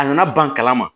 A nana ban kalama